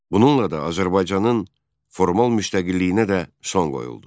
Bununla da Azərbaycanın formal müstəqilliyinə də son qoyuldu.